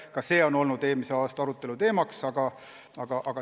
Ka see on olnud eelmise aasta arutelu teema.